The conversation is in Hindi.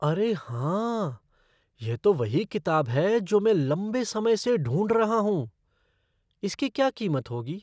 अरे हाँ! यह तो वही किताब है जो मैं लंबे समय से ढूंढ रहा हूँ। इसकी क्या कीमत होगी?